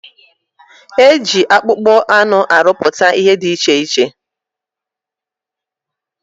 Eji akpụkpọ anụ arụpụta ihe dị iche iche.